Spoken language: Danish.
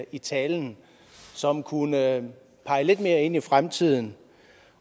i talen som kunne pege lidt mere ind i fremtiden